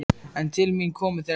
En til mín komu þeir ekki.